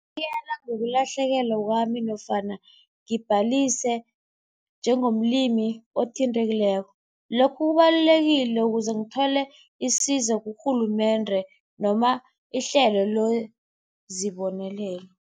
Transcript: Ngokulahlekelwa kwami nofana ngibhalise njengomlimi othintekileko. Lokhu kubalulekile ukuze ngithole isizo kurhulumende noma ihlelo lwezibonelelo.